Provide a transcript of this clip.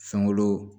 Fɛnko